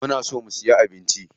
Muna so mu siya abinci.